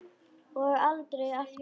Og aldrei aftur vor.